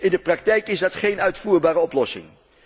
In de praktijk is dat geen uitvoerbare oplossing.